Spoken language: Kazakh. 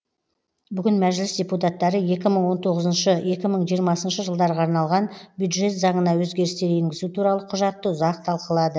бүгін мәжіліс депутаттары екі мың он тоғызыншы екі мың жиырмасыншы жылдарға арналған бюджет заңына өзгерістер енгізу туралы құжатты ұзақ талқылады